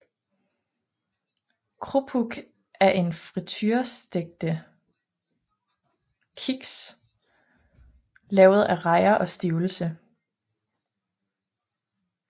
Krupuk er friturestegte kiks lavet af rejer og stivelse